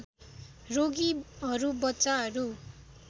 रोगीहरू बच्चाहरू